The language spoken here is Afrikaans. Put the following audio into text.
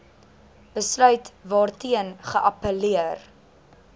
besluit waarteen geappelleer